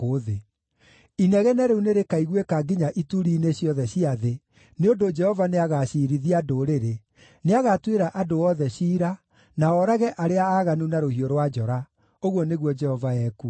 Inegene rĩu nĩrĩkaiguĩka nginya ituri-inĩ ciothe cia thĩ, nĩ ũndũ Jehova nĩagaciirithia ndũrĩrĩ; nĩagatuĩra andũ othe ciira na oorage arĩa aaganu na rũhiũ rwa njora,’ ” ũguo nĩguo Jehova ekuuga.